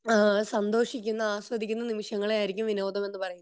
ഏഹ്ഹ് സന്തോഷിക്കുന്ന ആസ്വദിക്കുന്ന നിമിഷങ്ങളെ ആയിരിക്കും വിനോദം എന്ന പറയുന്നത്